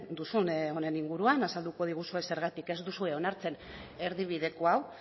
duzun honen inguruan azalduko diguzue zergatik ez duzue onartzen erdibideko hau